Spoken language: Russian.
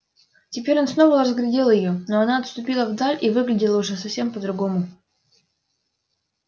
теперь он снова разглядел её но она отступила вдаль и выглядела уже совсем по другому